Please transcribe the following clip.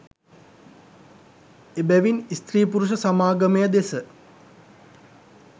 එබැවින් ස්ත්‍රී පුරුෂ සමාගමය දෙස